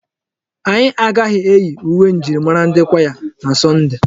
Anyị agaghị eyi uwe njirimara ndi kwaya na Sọnde.